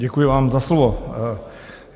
Děkuji vám za slovo.